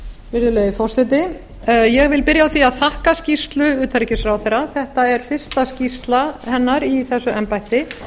virðulegi forseti ég vil byrja á því að þakka skýrslu utanríkisráðherra þetta er fyrsta skýrsla hennar í þessu embætti